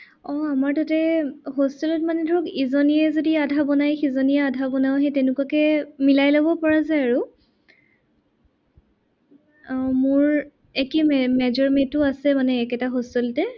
আহ আমাৰ তাতে hostel ত মানে ধৰক ইজনীয়ে যদি আধা বনাই সিজনীয়ে আধা বনাও, সেই তেনেকুৱাকে মিলাই লব পৰা যায় আৰু। আহ মোৰ একে major mate ও আছে মানে একেটা hostel তে।